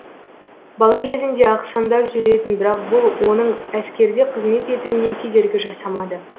бала кезінде ақсаңдап жүретін бірақ бұл оның әскерде қызмет етуіне кедергі жасамады